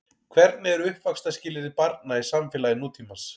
Hvernig eru uppvaxtarskilyrði barna í samfélagi nútímans?